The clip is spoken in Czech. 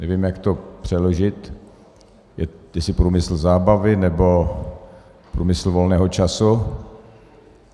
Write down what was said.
Nevím, jak to přeložit, jestli průmysl zábavy, nebo průmysl volného času.